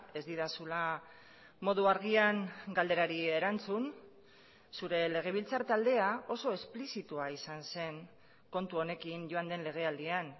ez didazula modu argian galderari erantzun zure legebiltzar taldea oso esplizitua izan zen kontu honekin joan den legealdian